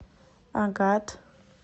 агат